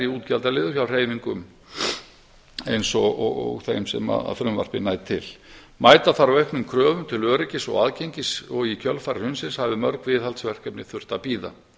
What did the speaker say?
útgjaldaliður hjá hreyfingum eins og þeim sem frumvarpið nær til mæta þarf auknum kröfum til öryggis og aðgengis og í kjölfar hrunsins hafa mörg viðhaldsverkefni þurft að bíða